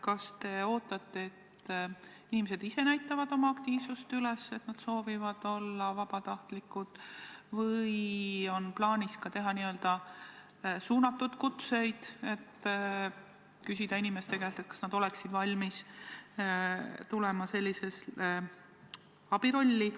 Kas te ootate, et inimesed ise näitavad oma aktiivsust üles ja annavad teada, et nad soovivad olla vabatahtlikud, või on plaanis saata n-ö suunatud kutseid, st küsida inimeste käest, kas nad oleksid valmis täitma sellist abistaja rolli?